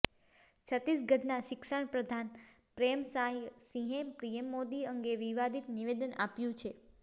છત્તીસગઢના શિક્ષણ પ્રધાન પ્રેમસાયસિંહે પીએમ મોદી અંગે વિવાદિત નિવેદન આપ્યુ છે